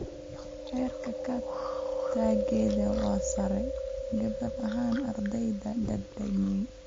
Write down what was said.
Heerka ka-tagidda waa sare, gaar ahaan ardayda da'da weyn.